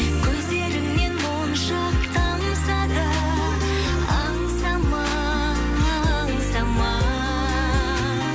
көздеріңнен моншақ тамса да аңсама аңсама